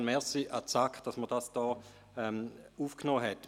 Insofern ein Danke an die SAK, dass sie dies aufgenommen hat.